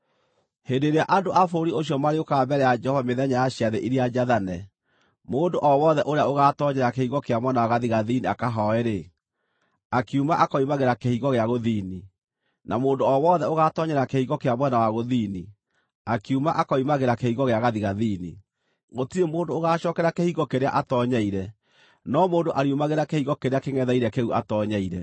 “ ‘Hĩndĩ ĩrĩa andũ a bũrũri ũcio marĩũkaga mbere ya Jehova mĩthenya ya ciathĩ iria njathane, mũndũ o wothe ũrĩa ũgaatoonyera kĩhingo kĩa mwena wa gathigathini akahooe-rĩ, akiuma akoimagĩra kĩhingo gĩa gũthini; na mũndũ o wothe ũgaatoonyera kĩhingo kĩa mwena wa gũthini, akiuma akoimagĩra kĩhingo gĩa gathigathini. Gũtirĩ mũndũ ũgaacookera kĩhingo kĩrĩa atoonyeire, no mũndũ ariumagĩra kĩhingo kĩrĩa kĩngʼetheire kĩu atoonyeire.